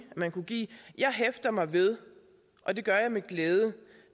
man kunne give jeg hæfter mig ved og det gør jeg med glæde